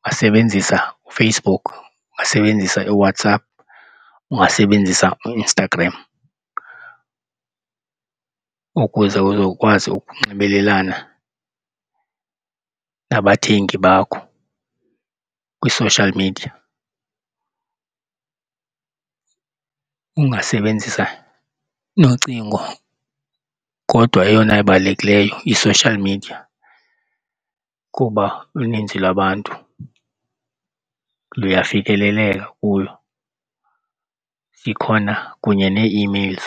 Ungasebenzisa uFacebook, ungasebenzisa iiWhatsApp, ungasebenzisa uInstagram ukuze uzokwazi ukunxibelelana nabathengi bakho kwi-social media. Ungasebenzisa nocingo kodwa eyona ibalulekileyo yi-social media kuba uninzi lwabantu luyafikeleleka kuyo zikhona kunye nee-emails.